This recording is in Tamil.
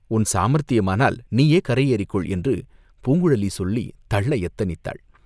உன் சாமர்த்தியத்தினால் நீயே கரை ஏறிக்கொள்!" என்று பூங்குழலி சொல்லித் தள்ள யத்தனித்தாள்.